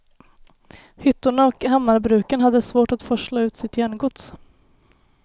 Hyttorna och hammarbruken hade svårt att forsla ut sitt järngods.